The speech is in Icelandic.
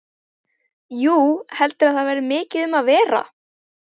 Jú, heldurðu að það verði mikið um að vera?